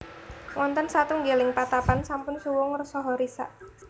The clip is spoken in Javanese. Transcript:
Wonten satunggiling patapan sampun suwung saha risak